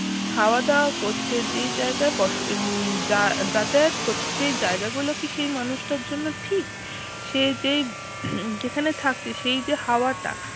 খাওয়া দাওয়া করছে যে জায়গায় বস আহ যা যাতায়াত করছে সেই জায়গা গুলো কি সেই মানুষটার জন্য ঠিক? সে যে যেখানে থাকছে সেই যে হাওয়াটা